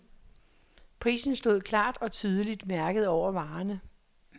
Prisen stod klart og tydeligt mærket over varerne.